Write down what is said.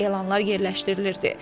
Elanlar yerləşdirilirdi.